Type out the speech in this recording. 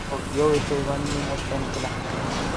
Ago kiyoweksei konyinet En kila.